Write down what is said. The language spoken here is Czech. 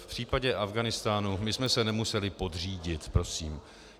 V případě Afghánistánu, my jsme se nemuseli podřídit prosím.